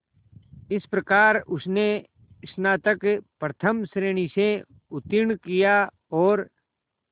इस प्रकार उसने स्नातक प्रथम श्रेणी से उत्तीर्ण किया और